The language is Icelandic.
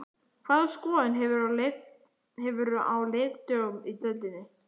Hvaða skoðun hefurðu á leikdögunum í deildinni?